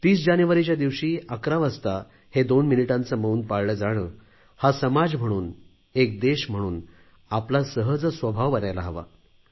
30 जानेवारीच्या दिवशी 11 वाजता हे दोन मिनिटांचे मौन पाळलं जाणं हा समाज म्हणून एक देश म्हणून आपला सहज स्वभाव बनायला हवा